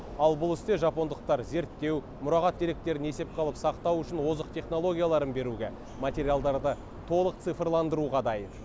ал бұл істе жапондықтар зерттеу мұрағат деректерін есепке алып сақтау үшін озық технологияларын беруге материалдарды толық цифрландыруға дайын